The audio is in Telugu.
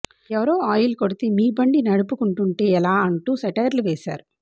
ఎవరో ఆయిల్ కొడితే మీ బండి నడుపుకుంటుంటే ఎలా అంటూ సెటైర్లు వేశారు